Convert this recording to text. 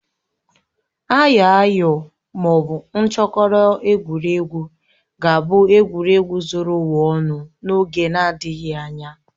Ayoayo ma ọ bụ nchokoro, egwuregwu ga-abụ egwuregwu zuru ụwa ọnụ n'oge na-adịghị anya